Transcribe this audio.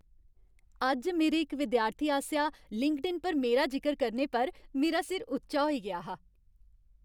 अज्ज मेरे इक विद्यार्थी आसेआ लिंक्डइन पर मेरा जिकर करने पर मेरा सिर उच्चा होई गेआ हा।